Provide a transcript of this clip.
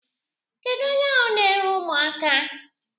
Kedụ onye ahụ na-ere ụmụaka?